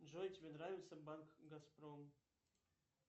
джой тебе нравится банк газпром